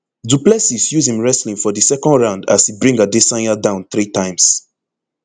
du plessis use im wrestling for di second round as e bring adesanya down three times